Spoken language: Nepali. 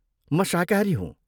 म शाकाहारी हूँ ।